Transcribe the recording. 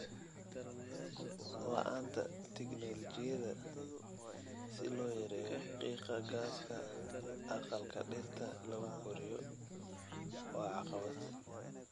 La'aanta tignoolajiyada si loo yareeyo qiiqa gaaska aqalka dhirta lagu koriyo waa caqabad.